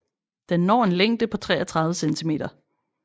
Den når en længde på 33 cm